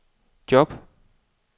job